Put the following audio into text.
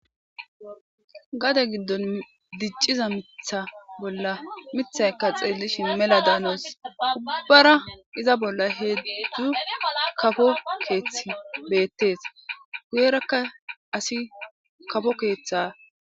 gade giddon dicciza mitha bolla mithaykka xeellishin mela daanos ubbara iza bolla heedzdzu kafo keeththi beettees guyerakka asi kafo keeththa